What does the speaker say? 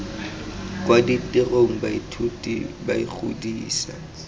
kwa ditirong baithuti ba ikgodisa